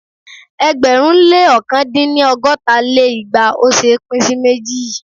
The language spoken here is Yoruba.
ẹgbẹ̀rún lé ọ̀kan dín ní ọgọ́ta lé igba ò ṣé é pín sí méjì.